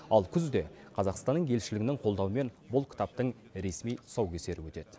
ал күзде қазақстанның елшілігінің қолдауымен бұл кітаптың ресми тұсаукесері өтеді